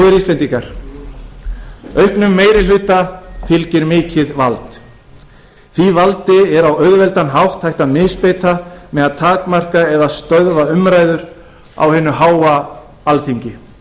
góðir íslendingar auknum meiri hluta fylgir mikið vald því valdi er á auðveldan hátt hægt að misbeita með að takmarka eða stöðva umræður á hinu háa alþingi